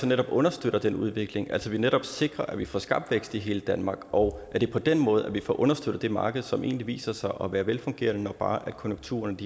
netop understøtter den udvikling at vi netop sikrer at vi får skabt vækst i hele danmark og at det er på den måde at vi får understøttet det marked som egentlig viser sig at være velfungerende når bare konjunkturerne